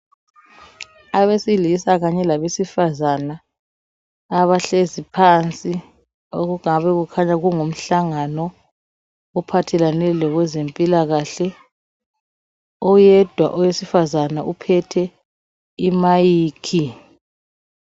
abesilisa kanye labesifazana abahlezi phansi okungabe kukhanya kungumhlangano ophathelane lezempilakahle oyedwa owesifazana uphethe i mic